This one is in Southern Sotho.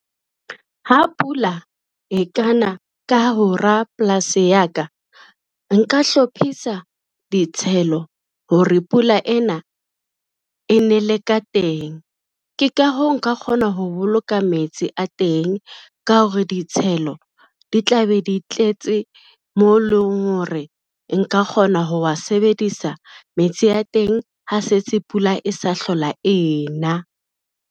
Ha pula e kana ka polasi ya ka, nka hlophisa ditshelo hore pula ena e nele ka teng. Ke ka hoo, nka kgona ho boloka metsi a teng ka hore ditshelo di tla be di tletse, mo leng hore nka kgona ho wa sebedisa metsi a teng ha se tse pula e sa hlola ena.